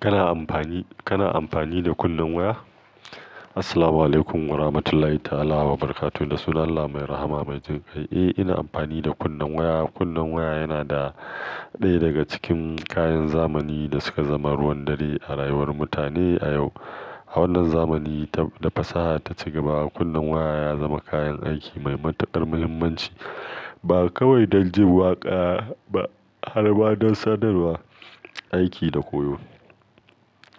Kana amfani, kana amfani da kunnen waya? Assalamualaikum warahmatullahi ta'ala wabarakatuh. Da sunan Allah mai rahama mai jinkai. Eh, ina amfani da kunnen waya. Kunnen waya yana ɗaya daga cikin kayan zamani da suka zama ruwan dare a rayuwar mutane a yau. A wannan zamani ta da fasaha ta ci gaba, kunnen waya ya zama kayan aiki mai matuƙar muhimmanci. Ba kawai don jin waƙa ba, har ma don sadarwa, aiki da koyo.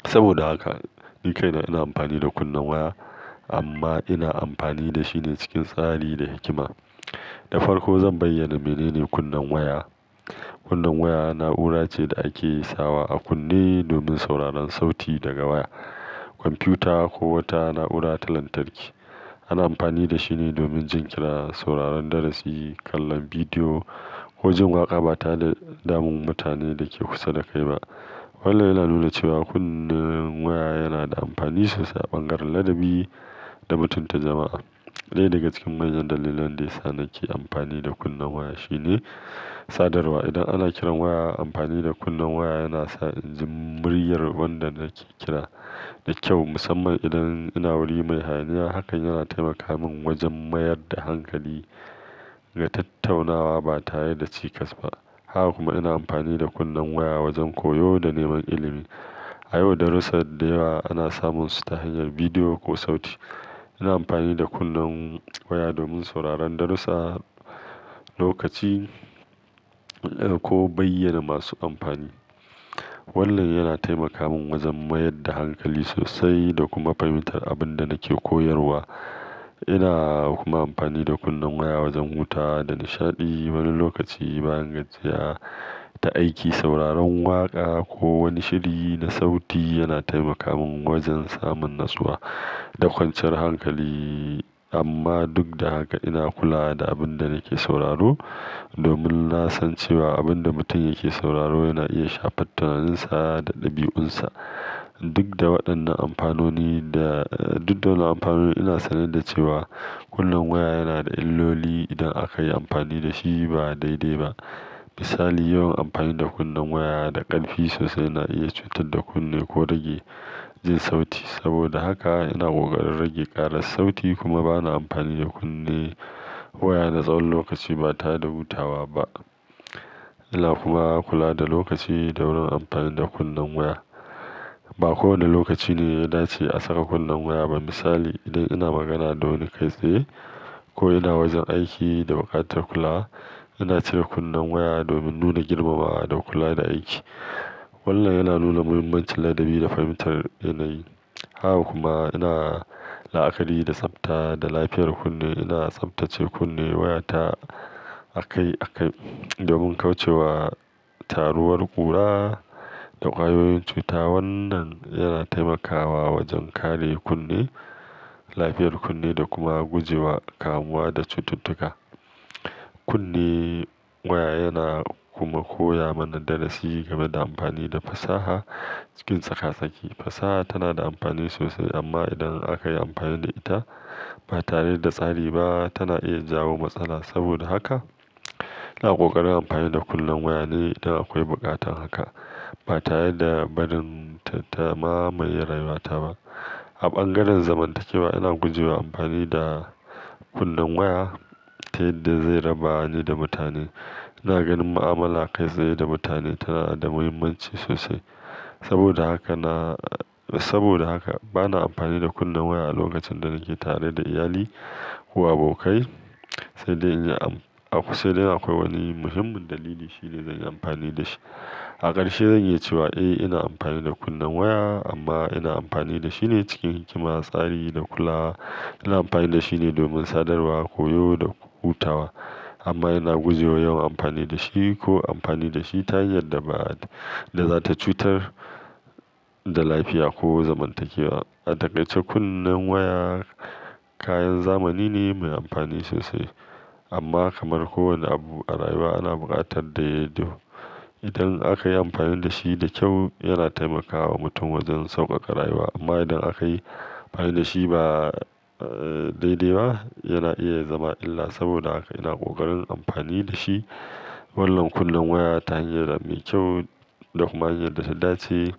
Saboda haka ni kaina ina amfani da kunnen waya amma ina amfani da shi ne cikin tsari da hikima. Da farko zan bayyana menene kunnen waya. Kunnen waya na'ura ce da ake sawa a kunne domin sauraron sauti daga waya, kwamfuta ko wata na'ura ta lantarki. Ana amfani da shi ne domin jin kira, sauraron darasi, kallon bidiyo ko jin waƙa ba tare da damun mutanen da ke kusa da kai ba. Wannan yana nuna cewa kunnen waya yana da amfani sosai a bangaren ladabi da mutunta jama'a. Ɗaya daga cikin manyan dalilan da yana sa nake amfani da kunnen waya shine sadarwa. Idan ana kiran waya, amfani da kunnen waya yana sa jin muryar wanda nake kira da kyau, musamman idan ina wuri mai hayaniya. Haka yana taimaka min wajen mayar da hankali ga tattaunawa ba tare da cikas ba. Haka kuma ina amfani da kunnen waya wajen koyo da neman ilimi. A yau, darussa da yawa ana samunsu ta hanyar bidiyo ko sauti. Ina amfani da kunnen waya domin sauraron darussa, lokaci ko bayyana masu amfani. Wannan yana taimaka min wajen mayar da hankali sosai da kuma fahimtar abin da nake koyarwa. Ina kuma amfani da kunnen waya wajen hutawa da nishaɗi. Wani lokaci bayan gajiyar ta aiki, sauraron waƙa ko wani shiri na sauti yana taimaka min wajen samun natsuwa da kwanciyar hankali. Amma duk da haka ina kula da abin da nake sauraro domin na san cewa abin da mutum yake sauraro yana iya shafar tunaninsa da ɗabi'unsa. Duk da waɗannan amfanoni da, duk da wannan amfanoni ina sane da cewa kunnen waya yana da illoli idan aka yi amfani da shi ba daidai ba. Misali, yawan amfani da kunnen waya da ƙarfi sosai yana iya cutar da kunne ko rage jin sauti. Saboda haka ina ƙoƙarin rage ƙaran sauti kuma ba na amfani da kunne waya na tsawon lokaci ba tare da hutawa ba. Ina kuma kula da lokaci da wurin amfani da kunnen waya. Ba kowane lokaci ne ya dace a saka kunnen waya ba. Misali, idan ina magana da wani kai tsaye ko ina wajen aiki da buƙatar kulawa, ina cire kunnen waya domin nuna girmamawa da kula da aiki. Wannan yana nuna muhimmancin ladabi da fahimtar yanayi. Haka kuma ina la'akari da tsafta da lafiyar kunne. Ina tsaftace kunne wayata akai, akai domin kauce wa taruwar ƙura da ƙwayoyin cuta. Wannan yana taimakawa wajen kare kunne, lafiyar kunne da kuma guje wa kamuwa da cututtuka. Kunne waya yana kuma koya mana darasi game da amfani da fasaha cikin tsaka-sake. Fasaha tana da amfani sosai amma idan aka yi amfani da ita ba tare da tsari ba tana iya jawo matsala. Saboda haka ina ƙoƙarin amfani da kunnen waya ne idan akwai buƙatar haka ba tare da barin ta, ta mamaye rayuwata ba. A bangaren zamantakewa ina guje wa amfani da kunnen waya ta yadda zai raba ni da mutane. Ina ganin mu'amala kai tsaye da mutane tana da muhimmanci sosai. Saboda haka na, saboda haka ba na amfani da kunnen waya a lokacin da nake tare da iyali ko abokai sai dai in yi am-- sai dai in akwai wani muhimmin dalili shine zan yi amfani da shi. A ƙarshe zai yi cewa eh ina amfani da kunnen waya amma ina amfani da shi ne cikin hikima, tsari da kula. Ina amfani da shi ne domin sadarwa, koyo da hutawa amma ina guje wa yawan amfani da shi ko amfani da shi ta hanyar da ma, da za ta cutar da lafiya ko zamantakewa. A takaice kunnen waya kayan zamani ne mai amfani sosai amma kamar kowane abu a rayuwa ana buƙatar daidaito-- idan aka yi amfani da shi da kyau yana taimakawa mutum wajen sauƙaƙa rayuwa amma idan aka yi amfani da shi ba, eh, daidai ba yana iya zama illa. Saboda haka ina ƙoƙarin amfani da shi wannan kunnen waya ta hanyar da mai kyau da kuma hanyar da ta dace.